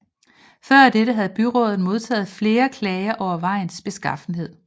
Før dette havde byrådet modtaget flere klager over vejens beskaffenhed